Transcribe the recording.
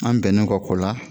An bɛnnen kɔ la